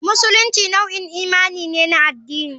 Musulunci nau'in imani ne na addini.